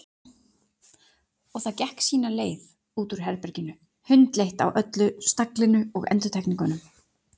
Og það gekk sína leið út úr herberginu, hundleitt á öllu staglinu og endurtekningunum.